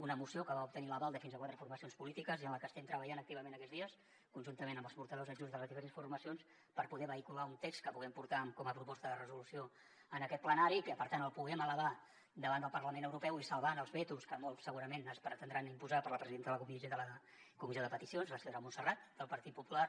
una moció que va obtenir l’aval de fins a quatre formacions polítiques i en la que estem treballant activament aquests dies conjuntament amb els portaveus adjunts de les diferents formacions per poder vehicular un text que puguem portar com a proposta de resolució en aquest plenari i que per tant el puguem elevar davant del parlament europeu i salvant els vetos que molts segurament ens pretendran imposar per la presidenta de la comissió de peticions la senyora montserrat del partit popular